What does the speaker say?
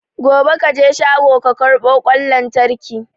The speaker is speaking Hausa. Gobe kaje shago ka karbo kwan lantraki